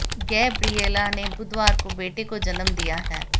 Gabriela ने बुधवार को बेटे को जन्म दिया है